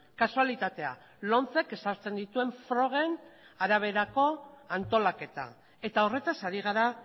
kasualitatea lomcek ezartzen dituen frogen araberako antolaketa eta horretaz ari gara